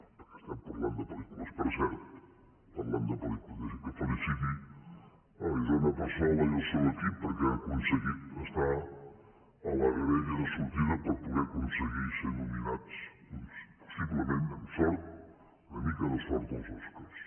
perquè estem parlant de pel·lícules per cert parlant de pel·lícules deixi’m que feliciti isona passola i el seu equip perquè han aconseguit estar a la graella de sortida per poder aconseguir ser nominats possiblement amb sort amb una mica de sort als oscars